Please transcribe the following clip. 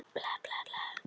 Föstudagskvöldið rann upp.